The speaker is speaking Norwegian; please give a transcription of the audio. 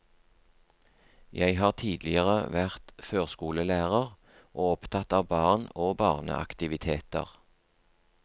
Jeg har tidligere vært førskolelærer, og opptatt av barn og barneaktiviteter.